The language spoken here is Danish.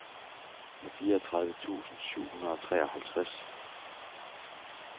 fireogtredive tusind syv hundrede og treoghalvtreds